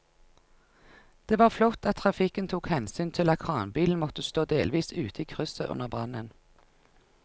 Det var flott at trafikken tok hensyn til at kranbilen måtte stå delvis ute i krysset under brannen.